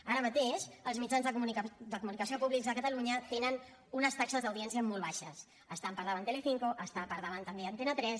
ara mateix els mitjans de comunicació públics de catalunya tenen unes taxes d’audiència molt baixes està per davant telecinco està per davant també antena tres